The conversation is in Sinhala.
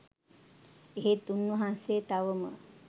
එහෙත් උන්වහන්සේ තවම